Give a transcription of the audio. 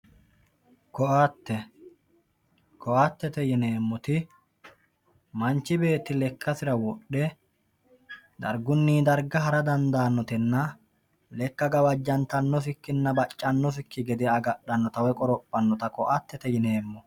ko"atte, ko"attete yineemmoti manchi beetti lekkasira wodhe dargunni darga hara dandaannotenna lekka gawajjantannosikkinna baccannosikki gede agadhannota woy qorophannota ko"attete yineemmo.